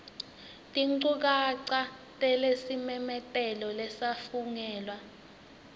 tinchukaca talesimemetelo lesafungelwa